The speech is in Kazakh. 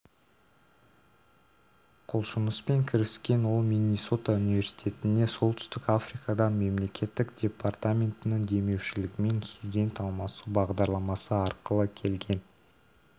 құлшыныспен кіріскен ол миннесота университетіне солтүстік африкадан мемлекеттік департаментінің демеушілігімен студент алмасу бағдарламасы арқылы келген